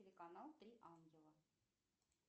телеканал три ангела